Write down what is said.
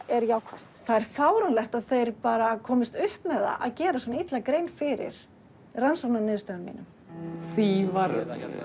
er jákvætt það er fáránlegt að þeir bara komist upp með það að gera svona illa grein fyrir rannsóknarniðurstöðunum mínum því var